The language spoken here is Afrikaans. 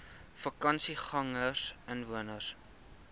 vakansiegangersinwoners